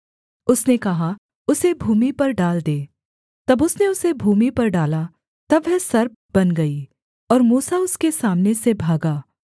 उसने कहा उसे भूमि पर डाल दे जब उसने उसे भूमि पर डाला तब वह सर्प बन गई और मूसा उसके सामने से भागा